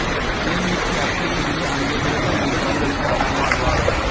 கேள்விக்கு அத்தைத் தின்று அங்கே கிடக்கும் என்று பதில் அளித்தார் நம்மாழ்வார்